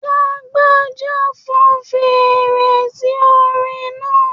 Lágbájá fọn feèrè sí orin náà.